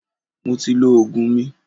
Mo ti lọ Ògùn mi.